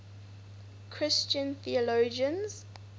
christian theologians